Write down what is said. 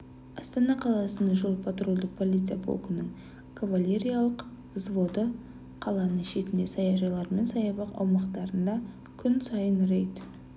астана қаласының жол-патрульдік полиция полкінің кавалериялық взводы қаланың шетінде саяжайлар мен саябақ аумақтарында күн сайын рейд